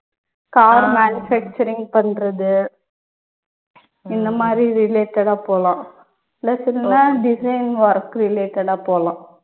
car manufacturing பண்றது இந்த மாதிரி related ஆ போலாம் plus வேணும்னா design work related ஆ போலாம்